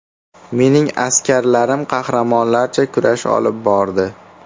Mening askarlarim qahramonlarcha kurash olib bordi.